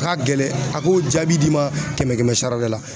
A ka gɛlɛn a k'o jaabi d'i ma kɛmɛ kɛmɛ sara la